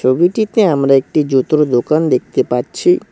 ছবিটিতে আমরা একটি জুতোর দোকান দেকতে পাচ্ছি।